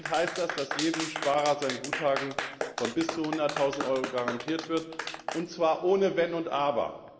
Konkret heißt das, dass jedem Sparer sein Guthaben von bis zu 100000Euro garantiert wird, und zwar ohne Wenn und Aber.